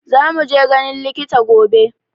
Za mu je ganin likita gobe